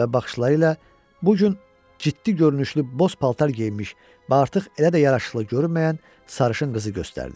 Və baxışları ilə bu gün ciddi görünüşlü boz paltar geyinmiş və artıq elə də yaraşıqlı görünməyən sarışın qızı göstərdi.